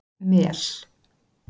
Mel